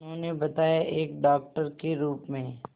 उन्होंने बताया एक डॉक्टर के रूप में